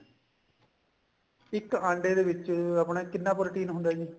ਇੱਕ ਅੰਡੇ ਦੇ ਵਿੱਚ ਆਪਣਾ ਕਿੰਨਾ protein ਹੁੰਦਾ ਜੀ